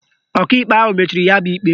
Ọkaikpe ahụ mechiri ya bụ ikpe